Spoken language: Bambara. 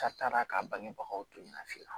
A taara k'a bangebagaw to yen nɔ filanan